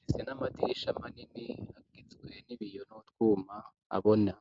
nese n'amadirisha manini agizwe n'ibiyo nt'utwuma abona.